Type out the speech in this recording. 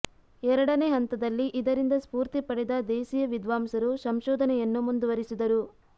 ಎರಡನೇ ಹಂತದಲ್ಲಿ ಇದರಿಂದ ಸ್ಪೂರ್ತಿ ಪಡೆದ ದೇಸಿಯ ವಿದ್ವಾಂಸರು ಸಂಶೋಧನೆಯನ್ನು ಮುಂದುವರಿಸಿದರು